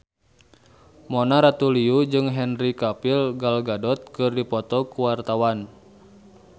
Mona Ratuliu jeung Henry Cavill Gal Gadot keur dipoto ku wartawan